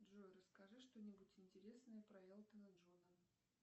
джой расскажи что нибудь интересное про элтона джона